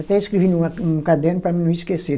Até escrevi numa, num caderno para mim não esquecer.